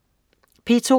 P2: